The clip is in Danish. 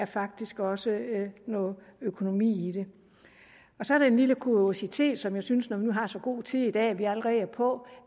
faktisk også noget økonomi i så er der en lille kuriositet som jeg synes når vi nu har så god tid i dag at vi allerede er på